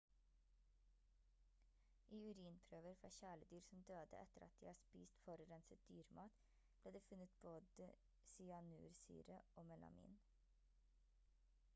i urinprøver fra kjæledyr som døde etter at de har spist forurenset dyremat ble det funnet både cyanursyre og melamin